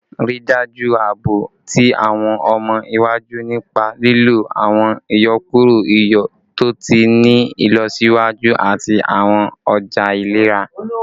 Rii daju aabo ti awọn ọmọ iwaju nipa lilo awọn iyọkuro iyọ to ti ni ilọsiwaju ati awọn ọja ilera